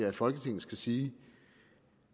at folketinget skal sige